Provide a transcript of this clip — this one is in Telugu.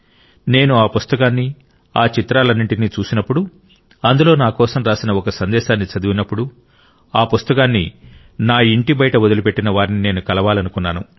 నేను ఆ పుస్తకాన్ని ఆ చిత్రాలన్నింటినీ చూసినప్పుడు అందులో నా కోసం రాసిన ఒక సందేశాన్ని చదివినప్పుడు ఆ పుస్తకాన్ని నా ఇంటి బయట వదిలిపెట్టిన వారిని నేను కలవాలనుకున్నాను